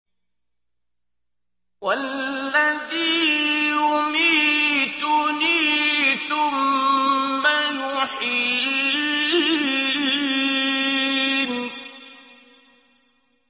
وَالَّذِي يُمِيتُنِي ثُمَّ يُحْيِينِ